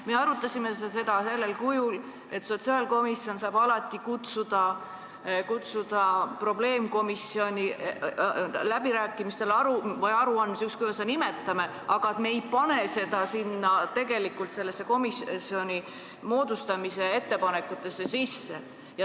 Me arutasime seda sellisel kujul, et sotsiaalkomisjon saab alati kutsuda probleemkomisjoni läbirääkimistele või aruandmisele – ükskõik, kuidas me seda nimetame –, aga me ei pane seda komisjoni moodustamise ettepanekutesse sisse.